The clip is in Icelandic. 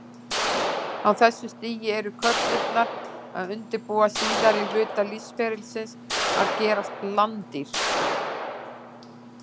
Á þessu stigi eru körturnar að undirbúa síðari hluta lífsferlisins, að gerast landdýr.